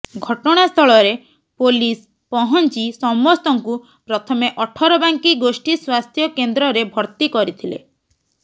ଘଟଣାସ୍ଥଳରେ ପୋଲିସ ପହଞ୍ଚି ସମସ୍ତ ଙ୍କୁ ପ୍ରଥମେ ଅଠରବାଙ୍କି ଗୋଷ୍ଠୀ ସ୍ୱାସ୍ଥ୍ୟ କେନ୍ଦ୍ରରେ ଭର୍ତ୍ତି କରିଥିଲେ